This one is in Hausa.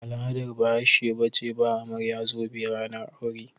Ba al'adar Bahashe ba ce ba amarya zobe ranar aure.